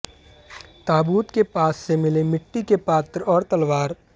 ताबूत के पास से मिले मिट्टी के पात्र और तलवार